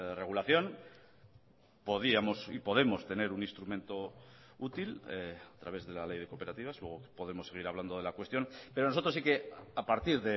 regulación podíamos y podemos tener un instrumento útil a través de la ley de cooperativas luego podemos seguir hablando de la cuestión pero nosotros sí que a partir